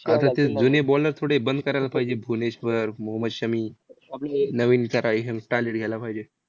नवीन करा घ्यायला पाहिजे.